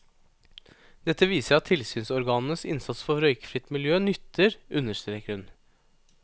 Dette viser at tilsynsorganenes innsats for røykfritt miljø nytter, understreker hun.